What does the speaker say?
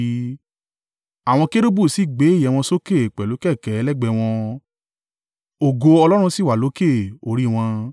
Àwọn kérúbù sì gbé ìyẹ́ wọn sókè pẹ̀lú kẹ̀kẹ́ lẹ́gbẹ̀ẹ́ wọn, ògo Ọlọ́run Israẹli sì wà lókè orí wọn.